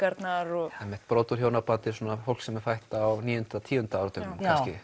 brot úr hjónabandi er svona fólk sem er fætt á níu og tíu áratugnum